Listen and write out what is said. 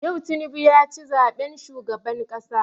Yau Tinubu ya ci zaben shugaban ƙasa.